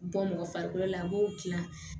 Bɔ mɔgɔ farikolo la a b'o dilan